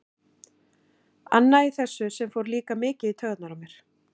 Annað í þessu sem fór líka mikið í taugarnar á mér.